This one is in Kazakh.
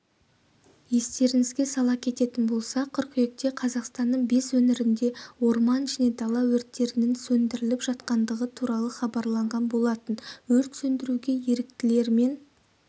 естеріңізге сала кететін болсақ қыркүйекте қазақстанның бес өңірінде орман және дала өрттерінің сөндіріліп жатқандығы туралы хабарланған болатын өрт сөндіруге еріктілер мен